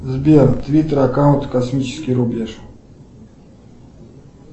сбер твиттер аккаунт космический рубеж